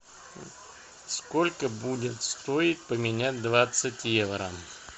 сколько будет стоить поменять двадцать евро